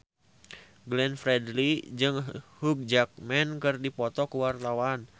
Glenn Fredly jeung Hugh Jackman keur dipoto ku wartawan